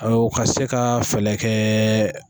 Aw ka se ka fɛlɛ kɛ